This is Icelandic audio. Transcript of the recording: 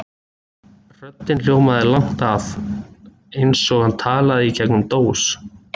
Röddin hljómaði langt að, eins og hann talaði í gegnum dós.